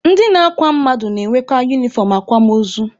Ndị na-akwa mmadụ na-enweka unifọm akwamaozu.